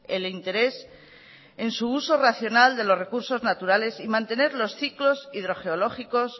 el interés en su uso racional de los recursos naturales y mantener los ciclos hidrogeológicos